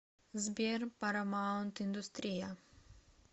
сбер парамаунт индустрия